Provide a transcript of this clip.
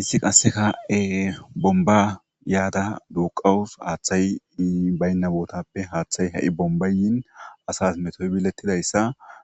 Issi qasse ka7e bomba yaada duuqawus haaththay baynna bootappe haaththay ha7i bombayin asas metoy bilettidayssa